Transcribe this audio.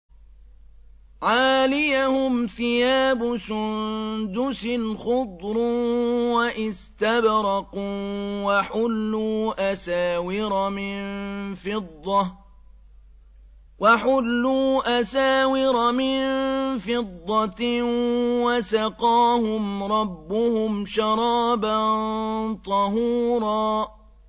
عَالِيَهُمْ ثِيَابُ سُندُسٍ خُضْرٌ وَإِسْتَبْرَقٌ ۖ وَحُلُّوا أَسَاوِرَ مِن فِضَّةٍ وَسَقَاهُمْ رَبُّهُمْ شَرَابًا طَهُورًا